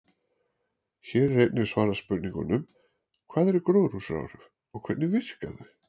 Hér er einnig svarað spurningunum: Hvað eru gróðurhúsaáhrif og hvernig virka þau?